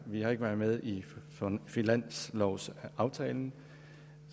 vi har ikke været med i finanslovsaftalen